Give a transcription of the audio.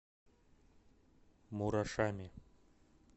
мурашами